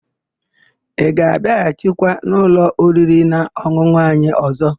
Ị ga-abịaghachikwa n'ụlọ oririnaọn̄ụn̄ụ anyị ọ̀zọ́?